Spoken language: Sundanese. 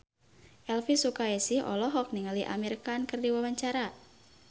Elvy Sukaesih olohok ningali Amir Khan keur diwawancara